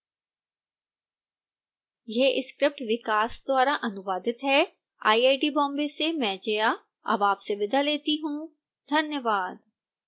यह स्क्रिप्ट विकास द्वारा अनुवादित है आईआईटी बॉम्बे से मैं जया अब आपसे विदा लेती हूँ धन्यवाद